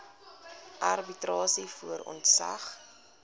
arbitrasie voor ontslag